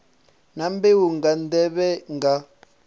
na mbeu nga nḓevhe nga